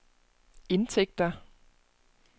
indtægter